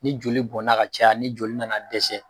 Ni joli bɔnna ka caya ni joli nana dɛsɛ